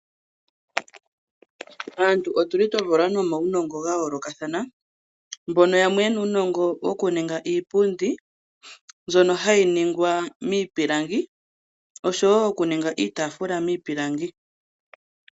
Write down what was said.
Aantu otu li twa valwa nomaunongo ga yoolokathana, mbono yamwe ye na uunongo wo ku ninga iipundi, mbyono hayi ningwa miipilangi. Oshowo okuninga iitafula miipilangi.